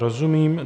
Rozumím.